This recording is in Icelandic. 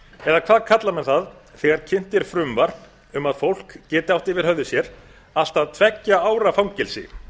eða hvað kalla menn það þegar kynnt er frumvarp um að fólk geti átt yfir höfði sér allt að tveggja ára fangelsi